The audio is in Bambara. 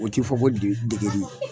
O t'i fɔ ko de degeli